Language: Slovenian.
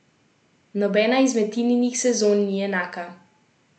Nobena izmed Tininih sezon ni enaka.